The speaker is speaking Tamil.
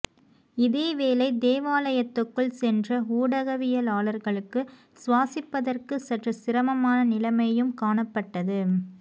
இதேவேளை தேவாலயத்துக்குள் சென்ற ஊடகவியலாளர்களுக்கு சுவாசிப்பதற்கு சற்று சிரமமான நிலைமையும் காணப்பட்டது